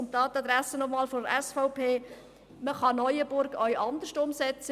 Dies noch einmal an die Adresse der SVP: Man kann Neuenburg auch anders umsetzen.